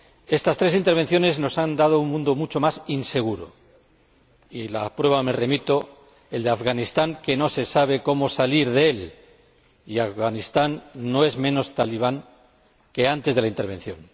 Estas tres intervenciones nos han dado un mundo mucho más inseguro —a las pruebas me remito—, como el ejemplo de Afganistán, de donde no se sabe cómo salir, un país que no es menos talibán que antes de la intervención.